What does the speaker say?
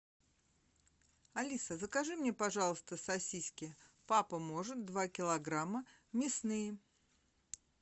алиса закажи мне пожалуйста сосиски папа может два килограмма мясные